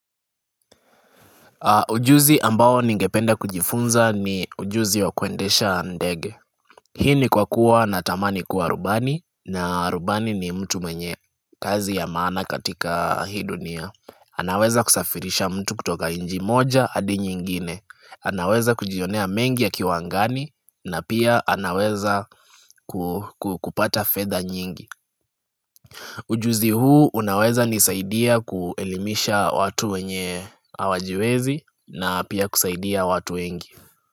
Ujuzi ambao ningependa kujifunza ni ujuzi wa kuendesha ndege. Hii ni kwa kuwa na tamani kuwa rubani na rubani ni mtu mwenye kazi ya maana katika hii dunia. Anaweza kusafirisha mtu kutoka nchi moja hadi nyingine. Anaweza kujionea mengi akiwa angani na pia anaweza kupata fedha nyingi. Ujuzi huu unaweza nisaidia kuelimisha watu wenye hawajiwezi na pia kusaidia watu wengi.